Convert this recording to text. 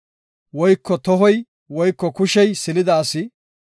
woyko tohoy woyko kushey silida asi,